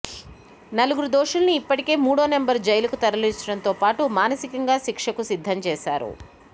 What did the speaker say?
నలుగురు దోషుల్ని ఇప్పటికే మూడో నంబర్ జైలుకు తరలించడంతోపాటు మానసికంగా శిక్షకు సిద్ధం చేశారు